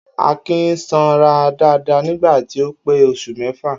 Akin sanra dáadáa nígbà tí ó pé os̩ù mé̩fà